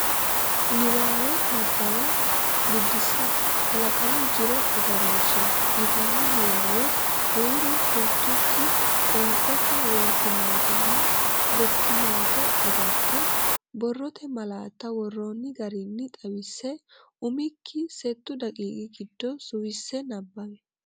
Niwaawe Nabbawa Biddissa “Kalaqamu Jiro Agarooshshe” yitanno niwaawe huuro fultukki qoonqote woffinatenna gottinate agarte, borrote malaatta worroonni garinni xawisse umikki settu daqiiqi giddo suwisse nabbawi.